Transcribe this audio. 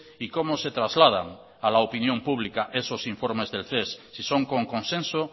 y cómo se trasladan a la opinión pública esos informes del ces si son con consenso